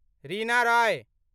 Reena Roy